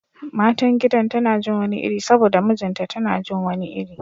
Matan gidan tana jin wani iri saboda mijinta tana jin wani iri